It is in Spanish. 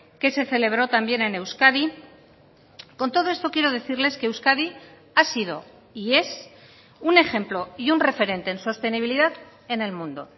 que se celebró también en euskadi con todo esto quiero decirles que euskadi ha sido y es un ejemplo y un referente en sostenibilidad en el mundo